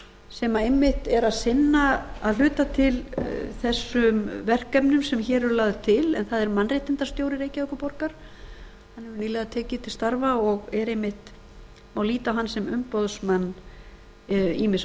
sem einmitt er að sinna að hluta til þessum verkefnum sem hér eru lögð til en það er mannréttindastjóri reykjavíkurborgar nýlega tekinn til starfa og má líta á hann sem umboðsmann ýmissa